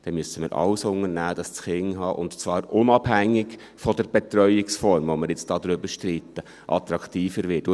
dann müssen wir alles unternehmen, damit das Kinderhaben, und zwar unabhängig von der Betreuungsform, über die wir jetzt streiten, attraktiver wird.